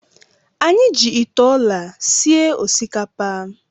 Anyị ji ite ọla sie osikapa.